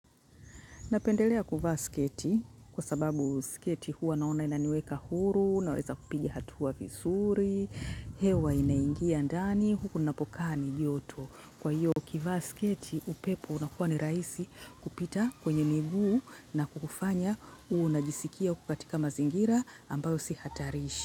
Napendelea kuvaa sketi kwa sababu sketi huwa naona inaniweka huru, naweza kupigi hatu wa visuri, hewa inaingia ndani, hukunapokani yoto. Kwa hiyo, ukivaa sketi, upepo unakuwa ni rahisi kupita kwenye miguu na kukufanya uwe unajisikia kukatika mazingira ambayo sihatarishi.